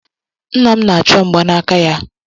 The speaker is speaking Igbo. Nna m na-achọ mgbanaka ya